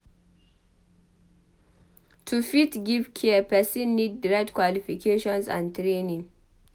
To fit give care persin need di right qualifications and training